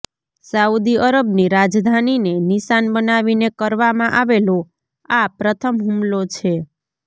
Saudi અરબની રાજધાનીને નિશાન બનાવીને કરવામાં આવેલો આ પ્રથમ હુમલો છે